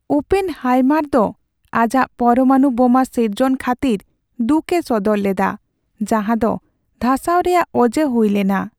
Oppenheimer ᱫᱚ ᱟᱡᱟᱜ ᱯᱚᱨᱢᱟᱱᱩ ᱵᱳᱢᱟ ᱥᱤᱨᱡᱚᱱ ᱠᱷᱟᱹᱛᱤᱨ ᱫᱩᱠᱮ ᱥᱚᱫᱚᱨ ᱞᱮᱫᱟ ᱡᱟᱦᱟᱸ ᱫᱚ ᱫᱷᱟᱥᱟᱣ ᱨᱮᱭᱟᱜ ᱚᱡᱮ ᱦᱩᱭ ᱞᱮᱱᱟ ᱾